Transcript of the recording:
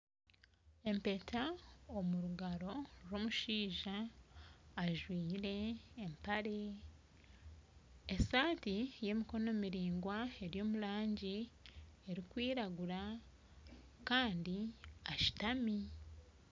Empeta omungaro n'omushaija ajwire empare , esati y'emikono miringwa ery'omurangi erukwiragura Kandi ashutami